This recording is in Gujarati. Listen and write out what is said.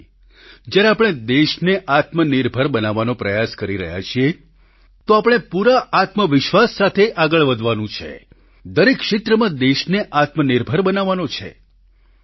આજે જ્યારે આપણે દેશને આત્મનિર્ભર બનાવવાનો પ્રયાસ કરી રહ્યા છીએ તો આપણે પૂરા આત્મવિશ્વાસ સાથે આગળ વધવાનું છે દરેક ક્ષેત્રમાં દેશને આત્મનિર્ભર બનાવવાનો છે